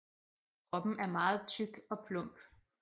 Kroppen er meget tyk og plump